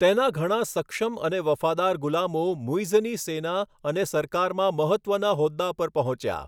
તેના ઘણા સક્ષમ અને વફાદાર ગુલામો મુઈઝની સેના અને સરકારમાં મહત્ત્વના હોદ્દા પર પહોંચ્યા.